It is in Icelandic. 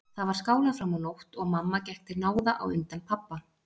Þar var skálað fram á nótt og mamma gekk til náða á undan pabba.